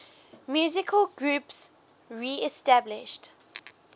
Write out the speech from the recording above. musical groups reestablished